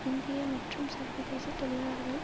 இந்திய மற்றும் சர்வதேச தொழிலாளர்கள்